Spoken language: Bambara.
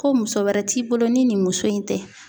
Ko muso wɛrɛ t'i bolo ni nin muso in tɛ.